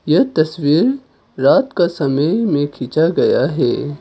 यह तस्वीर रात का समय में खींचा गया है।